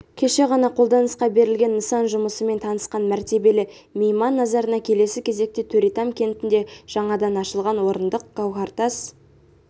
кеше ғана қолданысқа берілген нысан жұмысымен танысқан мәртебелі мейман назарына келесі кезекте төретам кентінде жаңадан ашылған орындық гауһартас